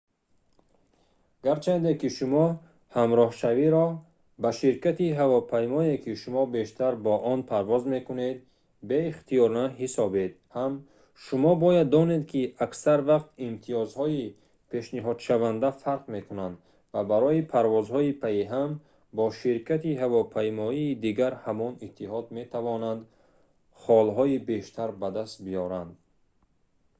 гарчанде ки шумо ҳамроҳшавиро ба ширкати ҳавопаймоие ки шумо бештар бо он парвоз мекунед беихтиёрона ҳисобед ҳам шумо бояд донед ки аксар вақт имтиёзҳои пешниҳодшаванда фарқ мекунанд ва барои парвозҳои паиҳам бо ширкати ҳавопаймоии дигари ҳамон иттиҳод метавонанд холҳои бештар ба даст биёранд